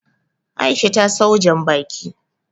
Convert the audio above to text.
Aisha ta sawo Janbaki